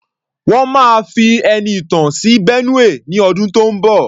Wọ́n máa fi Ẹniìtàn sí Benue ní ọdún tó ń bọ̀.